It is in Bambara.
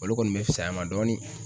Olu kɔni be fisay'a ma dɔɔni